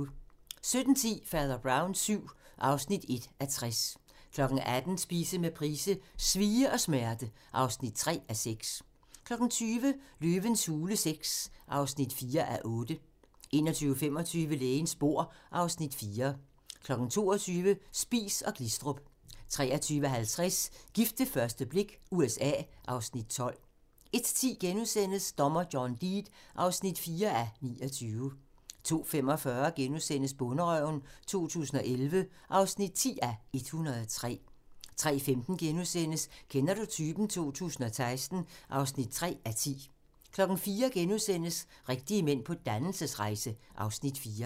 17:10: Fader Brown VII (1:60) 18:00: Spise med Price: "Svie og smerte" (3:6) 20:00: Løvens hule VI (4:8) 21:25: Lægens bord (Afs. 4) 22:00: Spies & Glistrup 23:50: Gift ved første blik – USA (Afs. 12) 01:10: Dommer John Deed (4:29)* 02:45: Bonderøven 2011 (10:103)* 03:15: Kender du typen? 2016 (3:10)* 04:00: Rigtige mænd på dannelsesrejse (Afs. 4)*